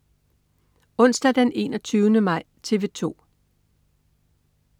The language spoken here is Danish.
Onsdag den 21. maj - TV 2: